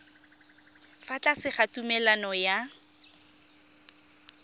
fa tlase ga tumalano ya